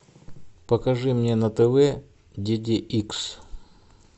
покажи мне на тв ди ди икс